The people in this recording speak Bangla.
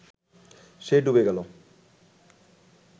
সে ডুবে গেল